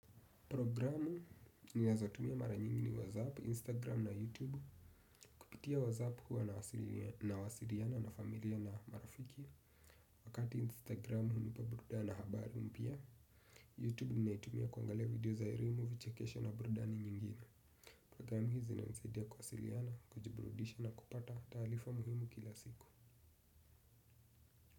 Programu ni nazotumia mara nyingini WhatsApp, Instagram na YouTube kupitia WhatsApp huwa nawasiriana na familia na marafiki. Wakati Instagram huwa nipa brudana habari mpia YouTube ni naitumia kuangalia video za erimu vichekesho na brudani nyingine. Programu hizi inanisaidia kwawasiriana, kujiburudisha na kupata talifa muhimu kila siku.